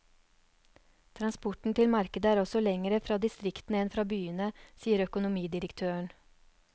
Transporten til markedet er også lengre fra distriktene enn fra byene, sier økonomidirektøren.